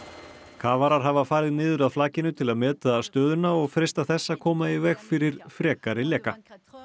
kafarar hafa farið niður að flakinu til að meta stöðuna og freista þess að koma í veg fyrir frekari leka